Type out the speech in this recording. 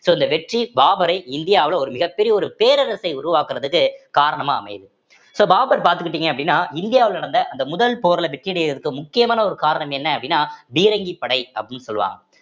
so இந்த வெற்றி பாபரை இந்தியாவுல ஒரு மிகப்பெரிய ஒரு பேரரசை உருவாக்குறதுக்கு காரணமா அமையுது so பாபர் பாத்துக்கிட்டீங்க அப்படின்னா இந்தியாவுல நடந்த அந்த முதல் போர்ல வெற்றி அடையுறதுக்கு முக்கியமான ஒரு காரணம் என்ன அப்படின்னா பீரங்கி படை அப்படின்னு சொல்லுவாங்க